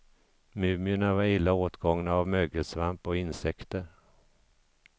Mumierna var illa åtgångna av mögelsvamp och insekter.